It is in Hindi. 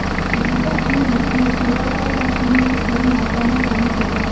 वह अपनी रचना सोया सॉस और चीनी की थोड़ी मात्रा में शामिल होगा